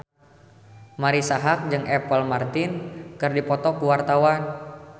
Marisa Haque jeung Apple Martin keur dipoto ku wartawan